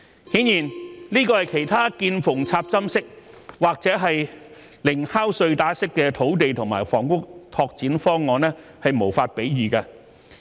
顯然，這是其他"見縫插針"式或"零敲碎打"式土地和房屋拓展方案無法比擬的。